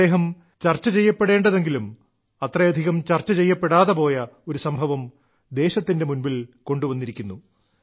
അദ്ദേഹം ചർച്ച ചെയ്യപ്പെടേണ്ടതെങ്കിലും അത്രയധികം ചർച്ച ചെയ്യപ്പെടാതെ പോയ ഒരു സംഭവം ദേശത്തിന്റെ മുൻപിൽ കൊണ്ടുവന്നിരിക്കുന്നു